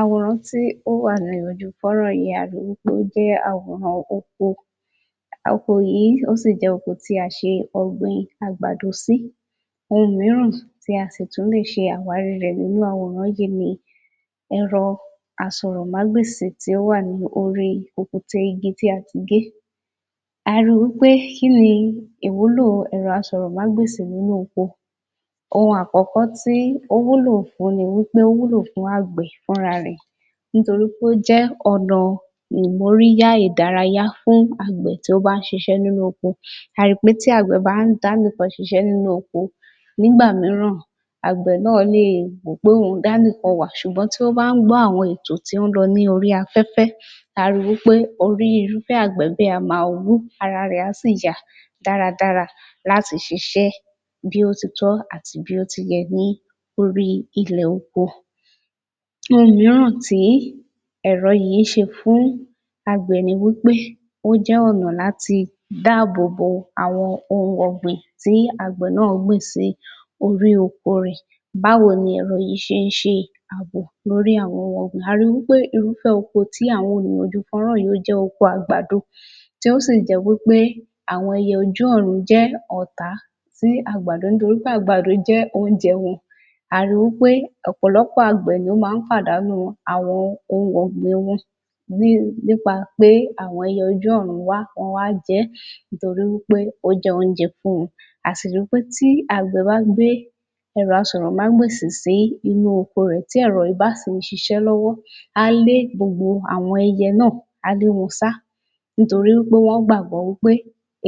Àwòrán tí ó wà lójú fọ́nrán yìí ni a rí pé ó jẹ́ àwòrán oko oko yìí ó sì jẹ́ oko tí a gbin àgbàdo sí ohun mìíràn tí a sì tún lè ṣe àwárí rẹ̀ nínú àwòrán yìí ni ẹ̀rọ asọ̀rọ̀mágbèsì tí ó wà ní orí kùkùté igi tí a ti gé a ri wí pé kí ni ìwúlò asọ̀rọ̀mágbèsì nínú oko ohun àkọ́kọ́ tí ó wúlò fún ni wí pé ó wúlò fún àgbẹ̀ fúnra rẹ̀ nítorí pé ó jẹ́ ọ̀nà ìmóríyá ìdárayá fún àgbẹ̀ tó bá ń ṣiṣẹ́ nínú oko a ó ri pé tí àgbẹ̀ bá ń dá nìkan siṣẹ́ nínú oko nígbà mìíràn àgbẹ̀ náà lè rò wí pé òun dá nìkan wà ṣùgbọ́n tí ó bá ń gbọ́ àwọn ètò tí ó ń lọ ní orí afẹ́fẹ́ a ó ri wí pé orí irúfẹ́ àgbẹ̀ bẹ́ẹ̀ á máa wú ara rẹ̀ á sì yá dáradára láti ṣiṣẹ́ bí ó ti tọ́ àti bí ó ti yẹ ní orí ilẹ̀ oko Ohun mìíràn tí tí ẹ̀rọ yìí ń ṣe fún àgbẹ̀ ni wí pé ó jẹ́ ọ̀nà láti dáàbòbo àwọn ohunọ̀gbìn tí àgbẹ̀ náà gbìn sí orí oko rẹ̀ báwo ni ẹ̀rọ yìí ṣe ń ṣe àbò lórí àwọn ohun ọ̀gbìn, a ri wí pé irúfẹ́ oko tí àwọn fọ́nran yìí jẹ́ oko àgbàdo tí ó sì jẹ́ wí pé àwọn ẹyẹ ojú ọ̀run jẹ́ ọ̀tá sí àgbàdo torí pé àgbàdo jẹ́ oúnjẹ wọn a ri wí pé ọ̀pọ̀lọpọ̀ àgbẹ̀ ló máa ń pàdánù àwọn ohun ọ̀gbìn wọn nípa pé àwọn ẹyẹ ojú ọ̀run wá, wọ́n wá jẹ ẹ́ nítorí wí pé ó jẹ́ oúnjẹ fún wọn a sì ri pé tí àgbẹ̀ bá ń gbé ẹ̀rọ asọ̀rọ̀mágbèsì sínú oko rẹ̀ tí ẹ̀rọ yìí bá sì ń ṣiṣẹ́ lọ́wọ́ á lé gbogbo àwọn ẹyẹ náà, á lé wọn sá nítorí pé wọ́n gbàgbọ́ pé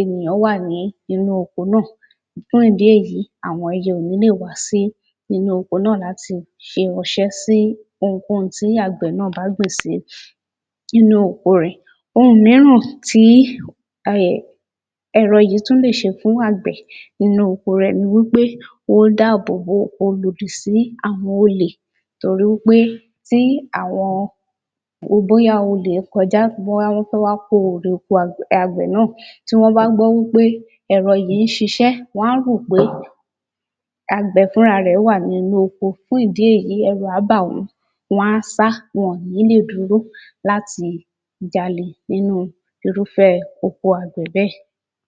ènìyàn wà nínú oko náà láti ṣe ọṣẹ́ sí ohunkóhun tí àgbẹ̀ náà bá gbìn sí inú oko rẹ̀ ohun mìíràn tí a lè ẹ̀rọ yìí tún lè ṣe fún àgbẹ̀ nínú oko ni wí pé ó ń dáàbòbò, ó lòdì sí àwọn olè torí wí pé tí àwọn bóyá olè kọjá, wọ́n wá ní kí wọ́n wá ko oko àgbẹ̀ náà tí wọ́n bá ń gbọ́ wí pé ẹ̀rọ yìí ń ṣiṣẹ́ wọ́n á rò pé àgbẹ̀ fúnra rẹ̀ wà nínú oko fún ìdí èyí ẹ̀rù á bà wọ́n wọ́n á sá, wọn ò ní lè dúró láti jalè nínú oko irúfẹ́ àgbẹ̀ bẹ́ẹ̀